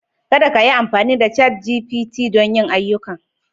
Kada kayi amfani da ChatGPT don yin ayyukanka